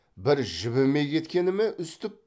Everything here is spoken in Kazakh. бір жібімей кеткені ме үстіп